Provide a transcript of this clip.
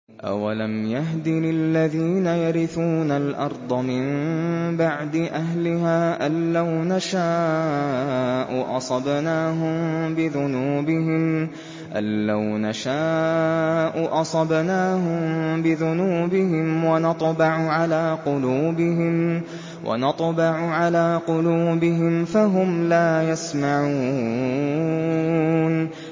أَوَلَمْ يَهْدِ لِلَّذِينَ يَرِثُونَ الْأَرْضَ مِن بَعْدِ أَهْلِهَا أَن لَّوْ نَشَاءُ أَصَبْنَاهُم بِذُنُوبِهِمْ ۚ وَنَطْبَعُ عَلَىٰ قُلُوبِهِمْ فَهُمْ لَا يَسْمَعُونَ